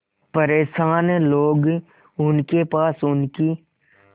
परेशान लोग उनके पास उनकी